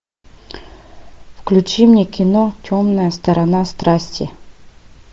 включи мне кино темная сторона страсти